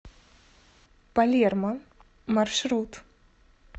палермо маршрут